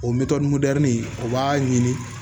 O mɔni mɛrɛnin o b'a ɲini